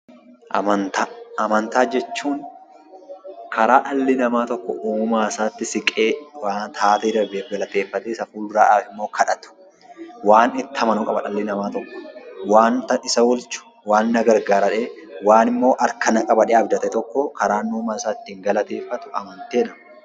Amantaa jechuun karaa dhalli namaa tokko uumaasaatti siqee taatee darbe tokkoof galateeffatee, isaa fuulduraafimmoo kadhatu. Waan itti amanuu qabu dhalli namaa tokko, waanta isa oolchu, waan na gargaara jedhee, waanimmoo harka na qaba jedhee abdate tokko karaan uumaasaa itti galateeffatu amantii jedhama.